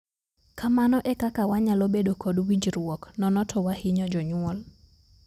Kamano ekeka wanyalo bedo kod winjruok. Nono to wahinyo jonyuol.